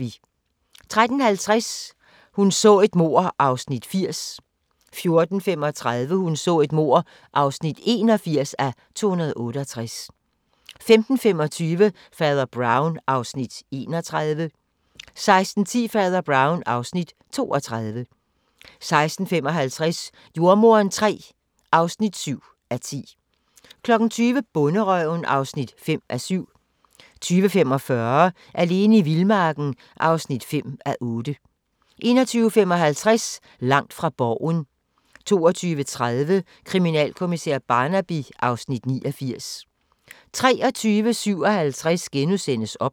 13:50: Hun så et mord (80:268) 14:35: Hun så et mord (81:268) 15:25: Fader Brown (Afs. 31) 16:10: Fader Brown (Afs. 32) 16:55: Jordemoderen III (7:10) 20:00: Bonderøven (5:7) 20:45: Alene i vildmarken (5:8) 21:55: Langt fra Borgen 22:30: Kriminalkommissær Barnaby (Afs. 89) 23:57: OBS *